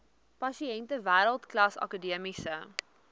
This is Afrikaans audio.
pasiënte wêreldklas akademiese